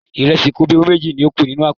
Ìrẹsì kobíowú méjì ni ó kù nínú àpò.